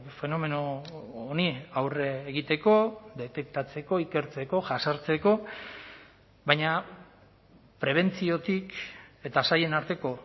fenomeno honi aurre egiteko detektatzeko ikertzeko jazartzeko baina prebentziotik eta sailen arteko